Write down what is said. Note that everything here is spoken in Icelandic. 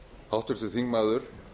háttvirtur þingmaður